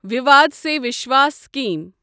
وِیواد سے وِشواس سِکیٖم